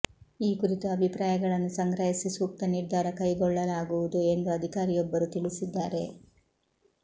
ಈ ಕುರಿತು ಅಭಿಪ್ರಾಯಗಳನ್ನು ಸಂಗ್ರಹಿಸಿ ಸೂಕ್ತ ನಿರ್ಧಾರ ಕೈಗೊಳ್ಳಲಾಗುವುದು ಎಂದು ಅಧಿಕಾರಿಯೊಬ್ಬರು ತಿಳಿಸಿದ್ದಾರೆ